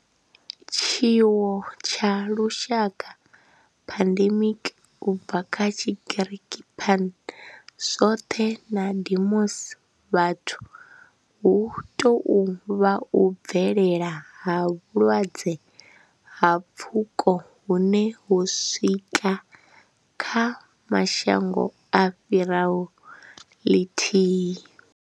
Tshiwo tsha lushaka, pandemic, u bva kha Tshigiriki pan, zwothe na demos, vhathu, hu tou vha u bvelela ha vhulwadze ha pfuko hune ho swika kha mashango a fhiraho ḽithihi.